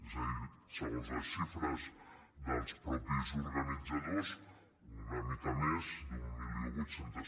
és a dir segons les xifres dels mateixos or·ganitzadors una mica més d’mil vuit cents